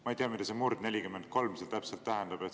Ma ei tea, mida see murd 43 seal täpselt tähendab.